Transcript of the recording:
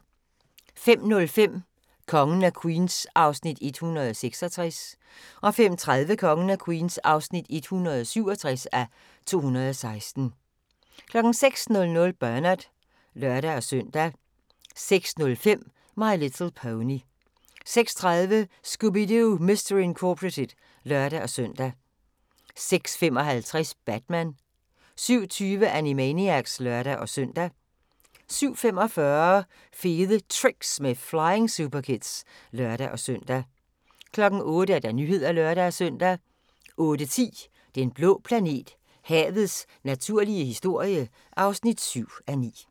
05:05: Kongen af Queens (166:216) 05:30: Kongen af Queens (167:216) 06:00: Bernard (lør-søn) 06:05: My Little Pony 06:30: Scooby-Doo! Mystery Incorporated (lør-søn) 06:55: Batman 07:20: Animaniacs (lør-søn) 07:45: Fede Tricks med Flying Superkids (lør-søn) 08:00: Nyhederne (lør-søn) 08:10: Den blå planet – havets naturlige historie (7:9)